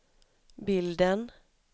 bilden